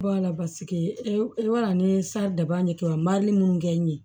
Wala basigi e b'a dɔn ni daba ye kɛ mali munnu kɛ n ye